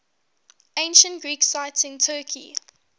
ancient greek sites in turkey